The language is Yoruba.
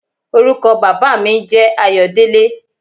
Orúkọ baba mi n jẹ́ Ayodele.